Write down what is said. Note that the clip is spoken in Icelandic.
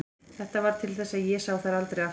Þetta varð til þess að ég sá þær aldrei aftur.